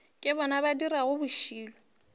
ke bona ba dirago bošilo